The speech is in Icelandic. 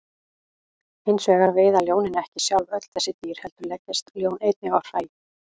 Hins vegar veiða ljónin ekki sjálf öll þessi dýr heldur leggjast ljón einnig á hræ.